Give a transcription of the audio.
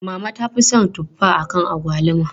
Mama ta fi son tuffa akan agwaluma.